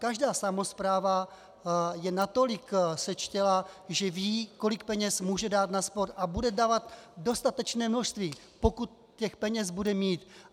Každá samospráva je natolik sečtělá, že ví, kolik peněz může dát na sport, a bude dávat dostatečné množství, pokud těch peněz bude mít.